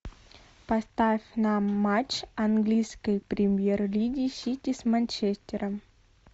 поставь нам матч английской премьер лиги сити с манчестером